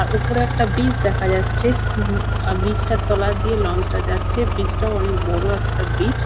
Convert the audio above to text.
আর উপরে একটা ব্রিজ দেখা যাচ্ছে উম আ ব্রিজ টার তলা দিয়ে লঞ্চ টা যাচ্ছে। ব্রিজ টাও অনেক বড় একটা ব্রিজ ।